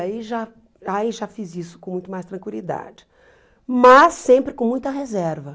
Aí já ai já fiz isso com muito mais tranquilidade, mas sempre com muita reserva.